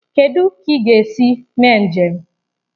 Kedụ ka ị ga-esi mee njem?